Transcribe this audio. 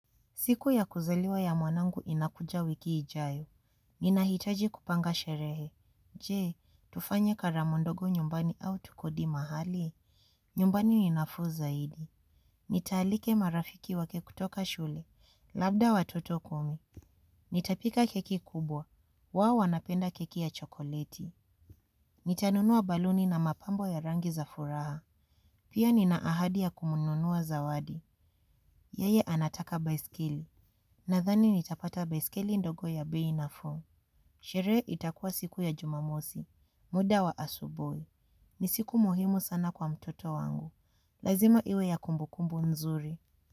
Siku ya kuzaliwa ya mwanangu inakuja wiki ijayo. Nina hitaji kupanga sherehe. Je, tufanye karamu ndogo nyumbani au tukodi mahali. Nyumbani ni nafuu zaidi. Nitaalike marafiki wake kutoka shule. Labda watoto kumi. Nitapika keki kubwa. Wao wanapenda keki ya chokoleti. Nitanunua baluni na mapambo ya rangi za furaha. Pia nina ahadi ya kumununua zawadi. Yeye anataka baiskeli. Nadhani nitapata beskeli ndogo ya bei nafuu. Sherehe itakua siku ya jumamosi. Muda wa asubui ni siku muhimu sana kwa mtoto wangu. Lazima iwe ya kumbukumbu nzuri.